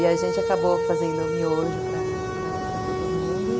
E a gente acabou fazendo o miojo para para todo mundo.